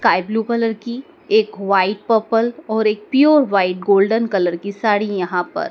sky blue colour की एक white purple और एक प्योर व्हाइट गोल्डन कलर की साड़ी यहाँ पर --